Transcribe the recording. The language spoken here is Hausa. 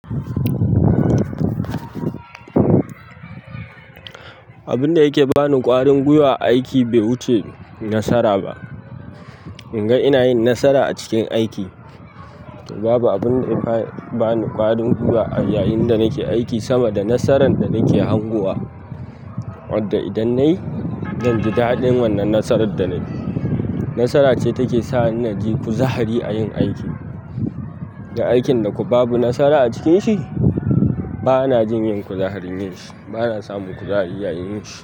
Abun da yake bani ƙwarin gwiwa a aiki bai wuce nasara ba. Inga ina yin nasara a cikin aiki, babu abunda ya fara bani ƙwarin gwiwa a yayin da nake aiki sama da nasaran da nake hangowa wadda idan nayi, zan ji daɗin wannan nasarar da nayi. Nasara ce take sanya nake kuzari a yin aiki. Dan aikin da kuma babu nasara a cikin shi, bana jin yin kuzari yin shi, bana samun kuzari yayin yin shi.